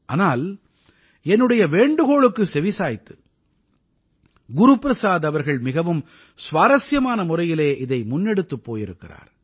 ஆனால் என்னுடைய வேண்டுகோளுக்குச் செவிசாய்த்து குரு பிரசாத் அவர்கள் மிகவும் சுவாரசியமான முறையிலே இதை முன்னெடுத்துப் போயிருக்கிறார்